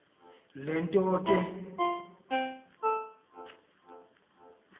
le nto ke